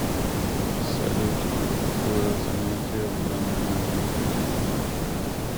салют какое занятие в данный момент у тебя